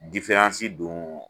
don